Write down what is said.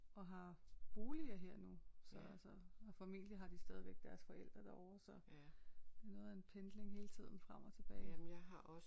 Og har boliger her nu så altså formentlig har de stadigvæk deres forældre derovre så det er noget af en pendling hele tiden frem og tilbage